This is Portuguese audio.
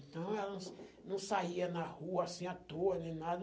Então, ela não não saía na rua, assim, à toa, nem nada.